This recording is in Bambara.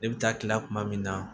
Ne bɛ taa kila kuma min na